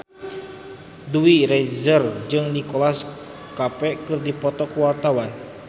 Dewi Rezer jeung Nicholas Cafe keur dipoto ku wartawan